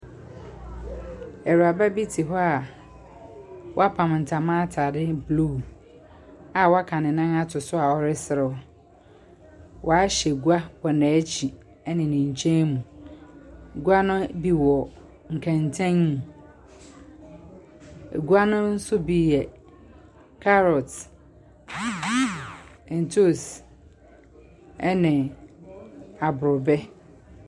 Awuraba bi te hɔ a wapam ntama atade blue a waka ne nan ato so a ɔreserew. Wahyɛ gua wɔ n'ekyir ne ne nkyɛn mu. Gua no bi wɔ nkɛntɛn mu. Gua no nso bi yɛ carrot, ntoosi ɛne aborɔbɛ.